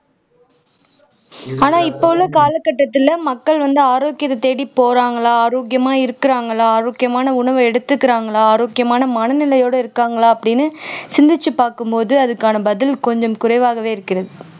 ஆனா இப்ப உள்ள கால கட்டத்துல மக்கள் வந்து ஆரோக்கியத்தை தேடி போறாங்களா ஆரோக்கியமா இருக்குறாங்களா ஆரோக்கியமான உணவை எடுத்துக்கறாங்களா ஆரோக்கியமான மனநிலையோட இருக்காங்களா அப்படின்னு சிந்திச்சு பார்க்கும் போது அதுக்கான பதில் கொஞ்சம் குறைவாகவே இருக்கிறது